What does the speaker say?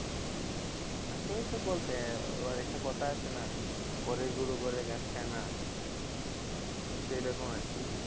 আশেপাশে বলতে একটা কথা আছে না ঘরের গরু ঘরের ঘাস খায় না সেই রকম আর কি।